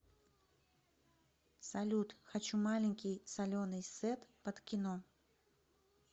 салют хочу маленький соленый сет под кино